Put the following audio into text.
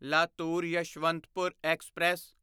Latur Yeshwantpur express